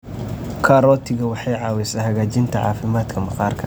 Karootiga waxay caawisaa hagaajinta caafimaadka maqaarka.